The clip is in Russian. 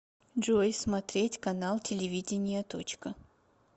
джой смотреть канал телевидения точка